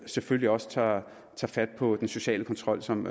selvfølgelig også tager fat på den sociale kontrol som